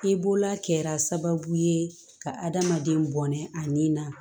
I bolola kɛra sababu ye ka adamaden bɔnɛ ani na